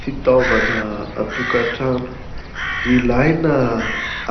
Fitaovana an-tokatrano ilaina